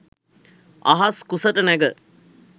අහස් කුසට නැග